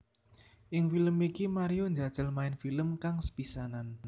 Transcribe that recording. Ing film iki Mario njajal main film kang sepisanan